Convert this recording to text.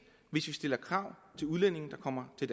vi stiller krav til udlændinge der kommer til